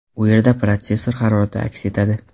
U yerda protsessor harorati aks etadi.